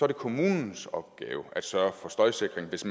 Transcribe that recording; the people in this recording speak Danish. det kommunens opgave at sørge for støjsikring hvis